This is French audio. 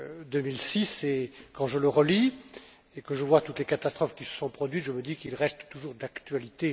2006. Quand je le relis, et que je vois toutes les catastrophes qui se sont produites, je me dis qu'il reste toujours d'actualité.